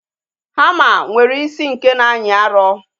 Hama nwere isi nke na-anyị arụ